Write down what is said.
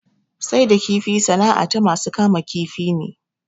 Sai da kifi sana'a ta masu kama kifi ne